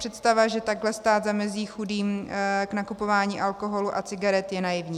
Představa, že takhle stát zamezí chudým v nakupování alkoholu a cigaret, je naivní.